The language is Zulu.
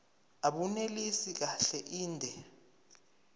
abunelisi kahle inde